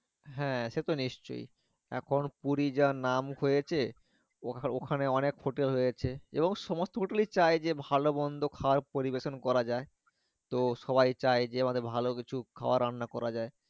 হ্যাঁ সে তো নিশ্চই এর পর পুরি যা নাম হয়েছে ওখানে অনেক hotel রয়েছে এবং সমস্থ hotel চায় যায় যে ভালো মন্দ খাবার পরিবেশন করা যায় তো সবাই চায় যে অতো কিছু ভালো খাবার রান্না করা যায়